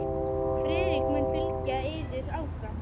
Friðrik mun fylgja yður áfram.